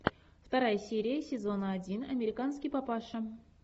вторая серия сезона один американский папаша